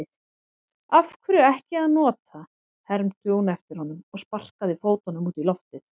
Af hverju ekki að nota, hermdi hún eftir honum og sparkaði fótunum út í loftið.